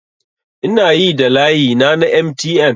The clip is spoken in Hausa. Ina yi da layina na MTN